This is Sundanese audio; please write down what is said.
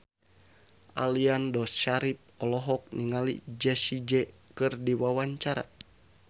Aliando Syarif olohok ningali Jessie J keur diwawancara